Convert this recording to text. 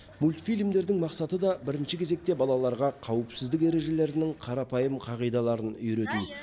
мультфильмдердің мақсаты да бірінші кезекте балаларға қауіпсіздік ережелерінің қарапайым қағидаларын үйрету